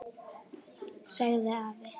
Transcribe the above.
sagði afi.